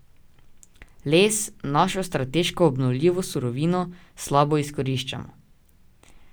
Les, našo strateško obnovljivo surovino, slabo izkoriščamo.